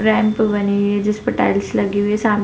Ramp बनी हुई है जिस पे टाइल्स लगी हुई है। सामने --